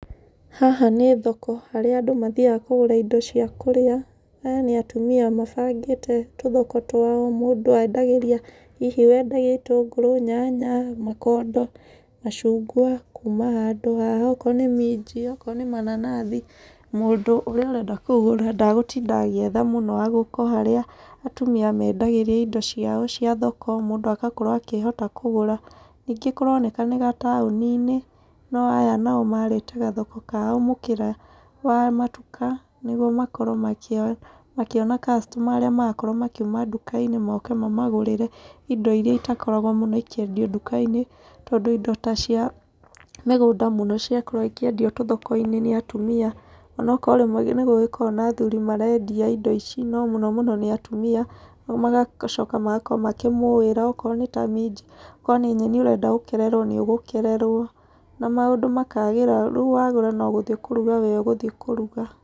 Haha nĩ thoko harĩa andũ mathiaga kũgũra indo cia kũrĩa. Aya nĩ atumia mabangĩte tũthoko twao, mũndũ endagĩria hihi wenda gĩtũngũrũ, nyanya, mũkondo, macungwa kuuma handũ haha. Okoro nĩ minji, okoro nĩ mananathi, mũndũ ũrĩa ũrenda kũgũra ndagũtinda agĩetha mũno, agũka o harĩa atumia mendagĩria indo ciao cia thoko mũndũ agakorwo akĩhota kũgũra. Ningĩ kũroneka nĩ gataũni-inĩ, na aya nao marĩte gathoko kao mũkĩra wa matuka nĩguo makorwo makĩona customer arĩa marakorwo makiuma nduka-inĩ moke mamagũrĩre indo irĩa itakoragwo mũno ikĩendio nduka-inĩ. Tondũ indo ta cia mĩgũnda mũno ciakoragwo ikĩendio tũthoko-inĩ nĩ atumia. Onokorwo rĩmwe nĩ gũgĩkoragwo na athuri marendia indo ici, no mũno mũno nĩ atumia, magacoka magakorwo makĩmũĩra okorwo nĩ ta minji, okorwo nĩ nyeni ũrenda gũkererwo nĩ ũgũkererwo. Na maũndũ makagĩra. Rĩu wagũra no gũthiĩ kũruga we ũgũthi kũruga.